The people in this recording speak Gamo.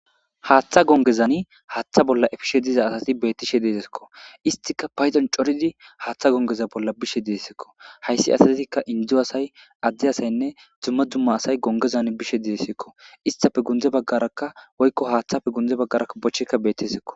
Haaththa gongezani haaththa bolla efishe diza asati bettishe deetekko. Isstika paydon coridi haaththa gongeza bolla bishe dessikko hayssi asatetikka indezu asay adde asayinne dumma dumma asay gongezan bishe dessikko isstappe gundze baggarakka woykko haaththappe gunde baggaraka bochchekka bettesekko.